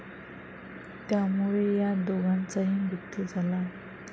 त्यामुळे यात दोघांचाही मृत्यू झाला आहे.